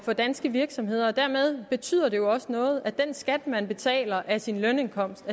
for danske virksomheder dermed betyder det jo også noget at den skat man betaler af sin lønindkomst